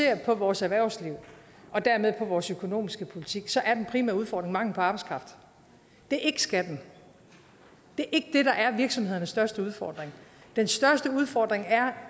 angår vores erhvervsliv og dermed på vores økonomiske politik så er den primære udfordring mangel på arbejdskraft det er ikke skatten det er der er virksomhedernes største udfordring den største udfordring er